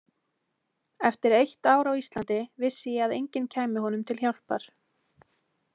Eftir eitt ár á Íslandi vissi ég að enginn kæmi honum til hjálpar.